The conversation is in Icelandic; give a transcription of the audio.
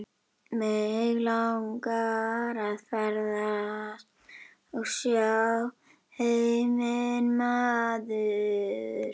Mig langar að ferðast og sjá heiminn maður.